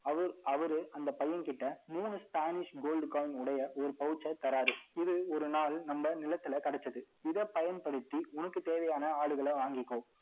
அவரு, அவரு அந்த பையன் கிட்ட, மூணு Spanish gold coin உடைய, ஒரு pouch அ தராரு. இது ஒரு நாள், நம்ம நிலத்தில கிடைச்சது. இதை பயன்படுத்தி, உனக்கு தேவையான ஆடுகளை வாங்கிக்கோ